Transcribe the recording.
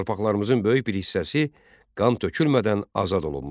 Torpaqlarımızın böyük bir hissəsi qan tökülmədən azad olunmuşdu.